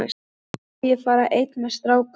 En má ég þá fara einn með strákunum?